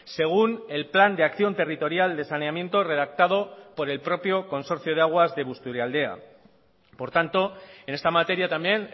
según el plan de acción territorial de saneamiento redactado por el propio consorcio de aguas de busturialdea por tanto en esta materia también